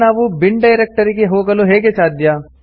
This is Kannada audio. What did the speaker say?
ಈಗ ನಾವು ಬಿನ್ ಡೈರೆಕ್ಟರಿಗೆ ಹೋಗಲು ಹೇಗೆ ಸಾಧ್ಯ